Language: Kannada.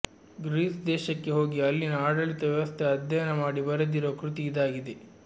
ಗ್ರೀಸ್ ದೇಶಕ್ಕೆ ಹೋಗಿ ಅಲ್ಲಿನ ಆಡಳಿತ ವ್ಯವಸ್ಥೆ ಅಧ್ಯಯನ ಮಾಡಿ ಬರೆದಿರುವ ಕೃತಿ ಇದಾಗಿದೆ